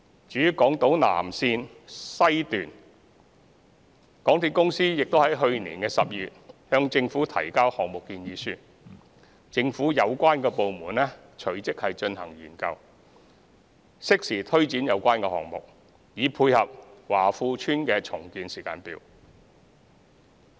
至於南港島綫，港鐵公司已於去年12月向政府提交項目建議書，政府有關部門隨即進行研究，適時推展有關項目，以配合華富邨的重建時間表。